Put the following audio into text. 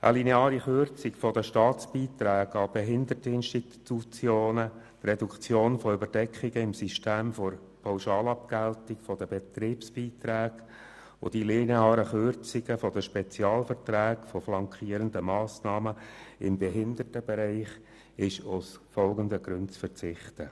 Auf eine lineare Kürzung der Staatsbeiträge an Behinderteninstitutionen, auf die Reduktion von Überdeckungen im System der Pauschalabgeltung der Betriebsbeiträge und auf die lineare Kürzung der Spezialverträge der flankierenden Massnahmen im Behindertenbereich ist aus den folgenden Gründen zu verzichten: